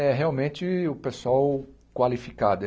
É realmente o pessoal qualificado.